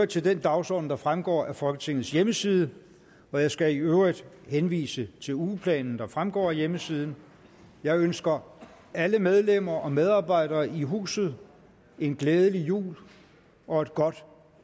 til den dagsorden der fremgår af folketingets hjemmeside jeg skal i øvrigt henvise til ugeplanen der fremgår af hjemmesiden jeg ønsker alle medlemmer og medarbejdere i huset en glædelig jul og et godt